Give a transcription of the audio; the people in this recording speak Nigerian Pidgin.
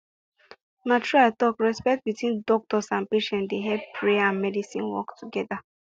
na true i talkrespect between doctor and patient dey help prayer and medicine work better